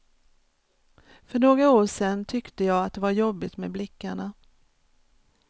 För några år sen tyckte jag att det var jobbigt med blickarna.